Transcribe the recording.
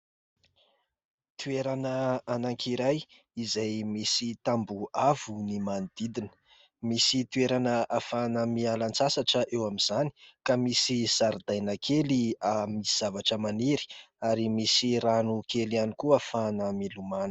Toerana anankiray izay misy tambo avo ny manodidina. Misy toerana afahana miala-tsasatra eo amin'izany ka misy zaridaina kely misy zavatra maniry ary misy rano kely ihany koa ahafana milomona.